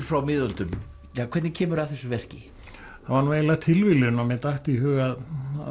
frá miðöldum hvernig kemurðu að þessu verki það var nú eiginlega tilviljun að mér datt í hug að